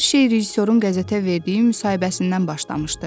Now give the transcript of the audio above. Hər şey rejissorun qəzetə verdiyi müsahibəsindən başlamışdı.